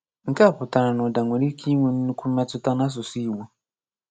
Nke a pùtàrà na ùdà nwere ike ínwẹ̄ nnukwu mmmétútá na ásùsú ìgbọ̀.